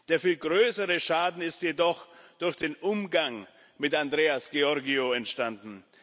Der viel größere Schaden ist jedoch durch den Umgang mit Andreas Georgiou entstanden.